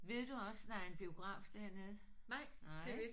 Ved du også der er en biograf dernede? Nej